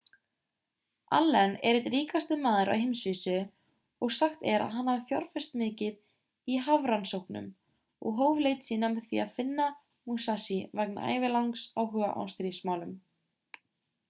allen er einn ríkasti maður á heimsvísu og sagt er að hann hafi fjárfest mikið í hafrannsóknum og hóf leit sína með því að finna musashi vegna ævilangs áhuga á stríðsmálum